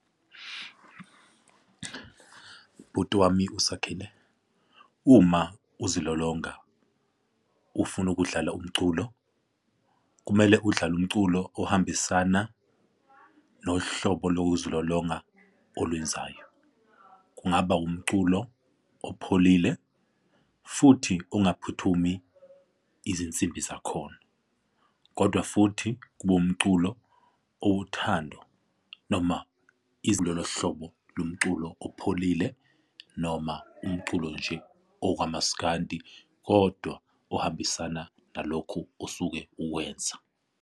Bhuti wami uSakhile, uma uzilolonga ufuna ukudlala umculo, kumele udlale umculo ohambisana nohlobo lokuzilolonga olwenzayo kungaba umculo opholile futhi ungaphuthumi izinsimbi zakhona, kodwa futhi kube umculo owothando noma izinga lohlobo lomculo opholile noma umculo nje okamaskandi. Kodwa ohambisana nalokhu osuke ukwenza.